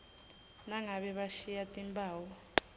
nangabe bashiye timphawu